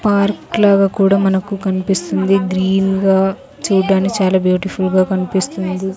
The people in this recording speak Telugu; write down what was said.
పార్క్ లాగా కూడా మనకు కనిపిస్తుంది గ్రీన్ గా చూడ్డానికి చాలా బ్యూటిఫుల్ గా కనిపిస్తుంది.